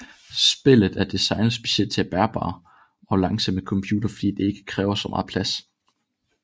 Spillet er designet specielt til bærbare og langsomme computer fordi at det ikke kræver så meget plads